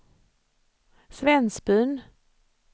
Svensbyn